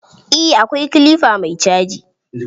Eh akwai kilifa mai caji.